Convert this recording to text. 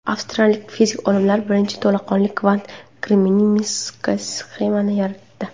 Avstraliyalik fizik olimlar birinchi to‘laqonli kvant kremniy mikrosxemani yaratdi.